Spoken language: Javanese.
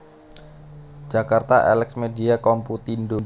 Jakarta Elex Media Komputindo